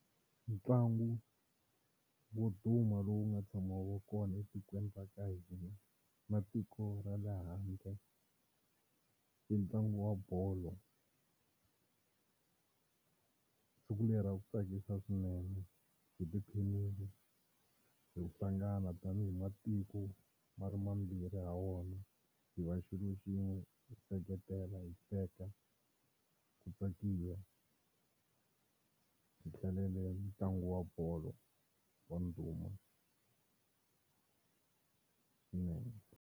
Ntlangu wo duma lowu nga tshama wu va kona etikweni ra ka hina na tiko ra le handle i ntlangu wa bolo siku leri a ku tsakisa swinene hi tiphinini hi hlangana tanihi matiko ma ri mambirhi ha wona hi va xilo xin'we hi seketela hi hleka ku tsakiwa hi hlalele ntlangu wa bolo wa ndhuma swinene.